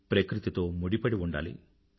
ప్రకృతితో ముడిపడి ఉండాలి